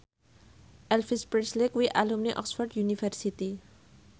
Elvis Presley kuwi alumni Oxford university